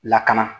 Lakana